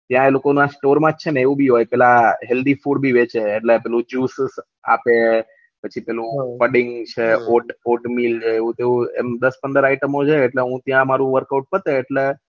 ત્યાં એ લોકો ના સ્ટોર માં છે ને એવું ભી હોય પેલા હેલ્થી ફૂડ ભી વેચે એટલે જુસ વુસ આપે પછી પેલું કડીન છે ઓંટ મિલ છે એવું તેવું એમ દસ પંદર ઇતેમો છે એટલે હું ત્યાં મારું વર્ક ઓઉટ કરતું હોય એટલે